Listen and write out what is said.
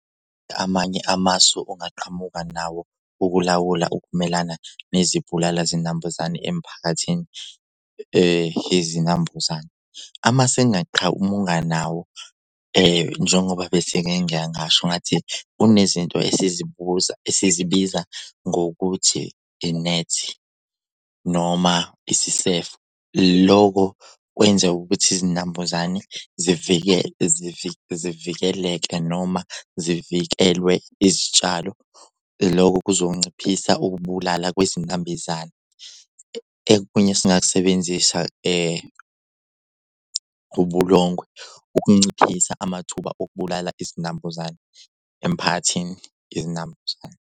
Amanye amasu ongaqhamuka nawo ukulawula ukumelana nezibulala zinambuzane emphakathini yezinambuzane? Amasu engingaqhamuka nawo njengoba bese-ke ngiye ngasho ngathi unezinto esizibuza esizibiza ngokuthi inethi noma isisefo. Lokho kwenzeka ukuthi izinambuzane zivikeleke noma zivikelwe izitshalo loko kuzonciphisa ukubulala kwezinambizane. Ekunye esingakusebenzisa ubulongwe ukunciphisa amathuba okubulala izinambuzane emphakathini izinambuzane.